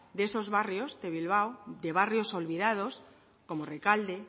de esos barrio de bilbao de barrios olvidados como rekalde